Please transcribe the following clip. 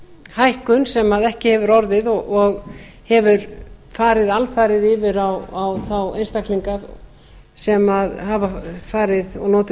hækkun sem ekki hefur orðið og hefur farið alfarið yfir á þá einstaklinga sem hafa farið og notið